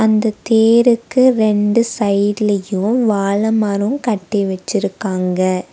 இந்த தேருக்கு ரெண்டு சைட்லயும் வாழை மரம் கட்டி வச்சிருக்காங்க.